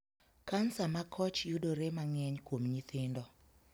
Kansa makoch yudore mang'eny kuom nyithindo.